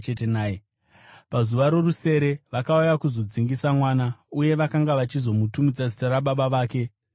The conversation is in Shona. Pazuva rorusere vakauya kuzodzingisa mwana, uye vakanga vachizomutumidza zita rababa vake Zekaria,